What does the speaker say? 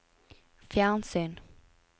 fjernsyn